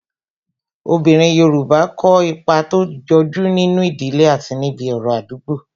Obinrin Yorùbá kó ipa tó jọju nínú ìdílé àti níbi ọ̀rọ̀ Àdúgbo